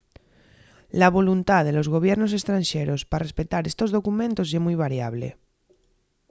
la voluntá de los gobiernos estranxeros pa respetar estos documentos ye mui variable